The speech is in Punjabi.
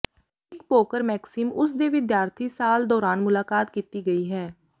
ਇੱਕ ਪੋਕਰ ਮੈਕਸਿਮ ਉਸ ਦੇ ਵਿਦਿਆਰਥੀ ਸਾਲ ਦੌਰਾਨ ਮੁਲਾਕਾਤ ਕੀਤੀ ਗਈ ਹੈ